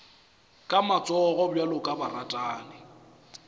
ka matsogo bjalo ka baratani